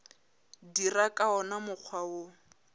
dira ka wona mokgwa wo